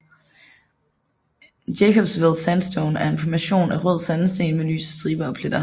Jacobsville Sandstone er en formation af rød sandsten med lyse striber og pletter